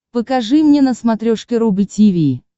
покажи мне на смотрешке рубль ти ви